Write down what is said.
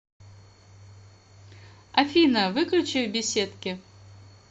афина выключи в беседке